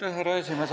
Härra esimees!